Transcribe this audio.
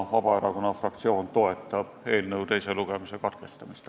Vabaerakonna fraktsioon toetab eelnõu teise lugemise katkestamist.